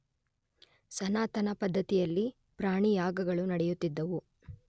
ಸನಾತನ ಪದ್ಧತಿಯಲ್ಲಿ ಪ್ರಾಣಿಯಾಗಗಳು ನೆಡೆಯುತ್ತಿದವು